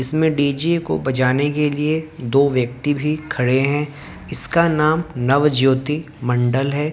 इसमें डी_जे को बजाने के लिए दो व्यक्ति भी खड़े हैं इसका नाम नवज्योति मंडल है।